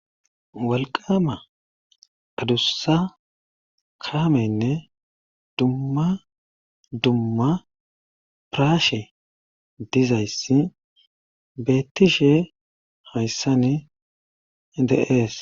walqama adussa kaameynne dumma dumma piraashe dizayssi beettishe hayssani de'ees